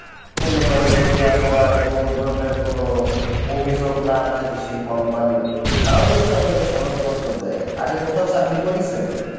মনে করেন যদি আপনার কোনো ধরণের কোনো অভিযোগ না থাকে সে company র তাহলে হচ্ছে আপনাকে সনদপত্র দেয়, আগে কোথাও চাকরি করেছেন?